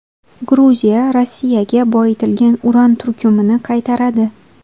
Gruziya Rossiyaga boyitilgan uran turkumini qaytaradi.